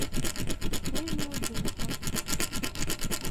нижнеудинску